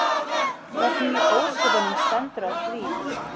Hvernig í ósköpunum stendur á því?